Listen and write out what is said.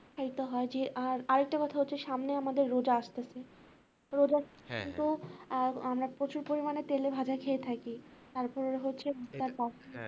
খাইতে হয় যে আর আরেকটা কথা হচ্ছে সামনে আমাদের রোজা আসতেছে আর আমরা প্রচুর পরিমানে তেলেভাজা খেয়ে থাকি তারপরে হচ্ছে